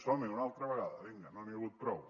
som hi una altra vegada vinga no n’hi ha hagut prou